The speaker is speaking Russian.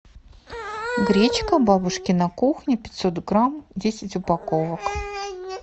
гречка бабушкина кухня пятьсот грамм десять упаковок